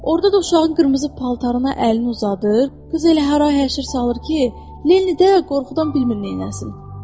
Orada da uşağın qırmızı paltarına əlini uzadır, qız elə hara-həşir salır ki, Lenndə qorxudan bilmir neynəsin.